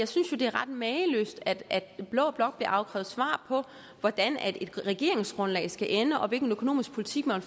synes jo det er ret mageløst at blå blok bliver afkrævet svar på hvordan et regeringsgrundlag skal ende og hvilken økonomisk politik man